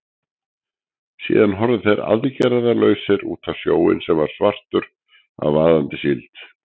Síðan horfðu þeir aðgerðalausir út á sjóinn, sem var svartur af vaðandi síld.